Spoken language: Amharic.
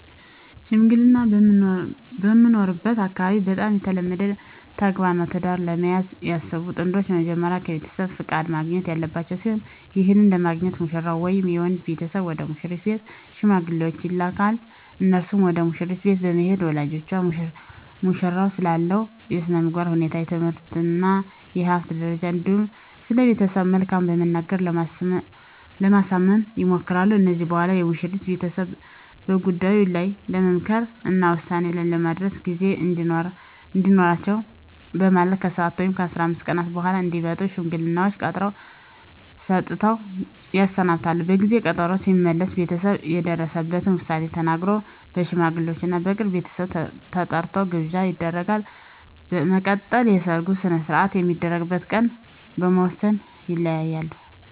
ሽምግልና በምኖርበት አካባቢ በጣም የተለመደ ተግባር ነው። ትዳር ለመያዝ ያሰቡ ጥንዶች በመጀመሪያ ከቤተሰብ ፍቃድ ማግኘት ያለባቸው ሲሆን ይህንንም ለማግኘት ሙሽራው ወይም የወንድ ቤተሰብ ወደ ሙሽሪት ቤት ሽማግሌዎችን ይልካል። እነርሱም ወደ መሽሪት ቤት በመሄድ ለወላጆቿ ሙሽራው ስላለው የስነምግባር ሁኔታ፣ የትምህርት እና የሀብት ደረጃ እንዲሁም ስለቤተሰቡ መልካምት በመናገር ለማሳመን ይሞክራሉ። ከዚህም በኋላ የሙሽሪት ቤተሰብ በጉዳዩ ላይ ለመምከር እና ውሳኔ ላይ ለመድረስ ጊዜ እንዲኖራቸው በማለት ከ7 ወይም 15 ቀን በኃላ እንዲመጡ ሽማግሌዎቹን ቀጠሮ ሰጥተው ያሰናብታሉ። በጊዜ ቀጠሮው ሲመለሱ ቤተሰብ የደረሰበትን ዉሳኔ ተናግሮ፣ ለሽማግሌወቹም እና የቅርብ ቤተሰብ ተጠርቶ ግብዣ ይደረጋል። በመቀጠልም የሰርጉ ሰነሰርአት የሚደረግበት ቀን በመወስን ይለያያሉ።